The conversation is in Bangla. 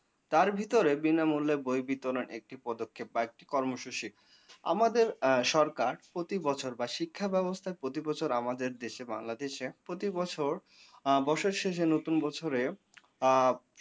তার ভিতরে বিনামূল্যে বই বিতরন একটি পদক্ষেপ বা একটি কর্মসূচি। আমাদের সরকার প্রতি বছর বা শিক্ষা ব্যাবস্থা প্রতি বছর আমাদের দেশে বাংলাদেশে প্রতি বছর বসের শেষে নতুন বছরে আ,